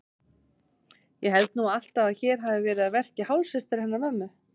Ég held nú alltaf að hér hafi verið að verki hálfsystir hennar mömmu.